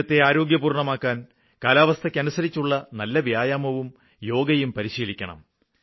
ശരീരത്തെ ആരോഗ്യപൂര്ണ്ണമാക്കാന് കാലാവസ്ഥയ്ക്കനുസരിച്ചുള്ള നല്ല വ്യായാമവും യോഗയും പരിശീലിക്കണം